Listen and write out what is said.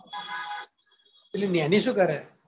પેલીં નેની શું કરે?